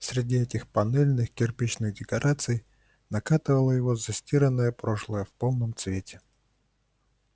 среди этих панельных-кирпичных декораций накатывало его застиранное прошлое в полном цвете